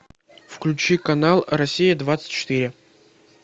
включи канал россия двадцать четыре